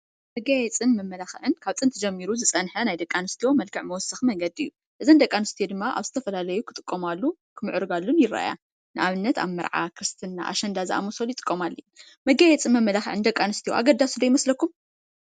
መጋየፅን መመላክዕን ካብ ጥንቲ ጀሚሩ ዝፀነሓ ናይ ደቂ ሰባት መልክዕ መወሰኪ መንገዲ እዩ ። እዝይ ንደቂ ኣስትዮ ደማ ኣብ ዝተፈላለየ ክጥቀማሉን ክምዕርጋን ይርኣያ። ንኣብነት ኣብ መርዓ፣ ክርስትና፣ ኣሸንዳ ክጥቀማሉ መጋየፅን መመላክዕን ንደቂ ኣስትዮ ኣገዳሲ ዶ ይመስሎኩም?